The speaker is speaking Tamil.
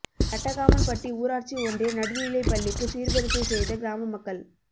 கட்டகாமன்பட்டி ஊராட்சி ஒன்றிய நடுநிலைப் பள்ளிக்கு சீர்வரிசை செய்த கிராம மக்கள்